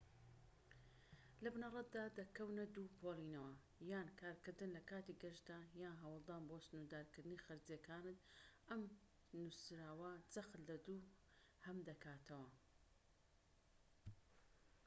لە بنەڕەتدا دەکەونە دوو پۆلێنەوە یان کارکردن لەکاتی گەشتدا یان هەوڵدان بۆ سنوردارکردنی خەرجیەکانت ئەم نوسراوە جەخت لە دووهەم دەکاتەوە